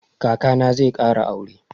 Kaka na zai ƙara aure.